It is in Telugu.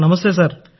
నమస్కారం సార్